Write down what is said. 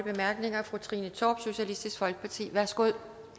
bemærkninger fru trine torp socialistisk folkeparti værsgo